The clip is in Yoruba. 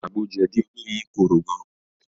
Àgbo jẹ̀dí olóyin korò gan